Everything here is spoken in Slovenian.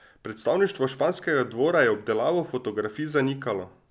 Predstavništvo španskega dvora je obdelavo fotografij zanikalo.